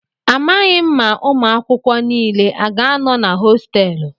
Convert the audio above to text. Amaghị m ma ụmụ akwụkwọ niile a ga-anọ na hostéélu